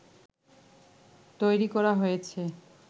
তৈরি করা হয়েছে